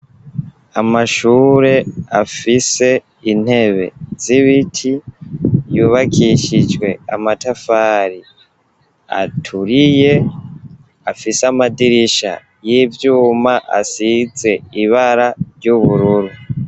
Amashure afise intebe, z'ibiti yubakishijwe amatafari aturiye, afise amadirisha y'ivyuma, asize ibara ry'ubururu.